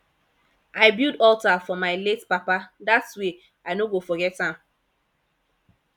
i build alter for my late papa dat way i no go forget am